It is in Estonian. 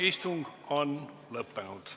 Istung on lõppenud.